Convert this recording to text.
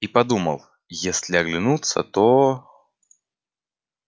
и подумал если оглянутся то